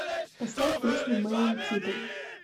поставь песню мэйн титл